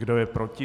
Kdo je proti?